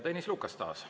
Tõnis Lukas taas.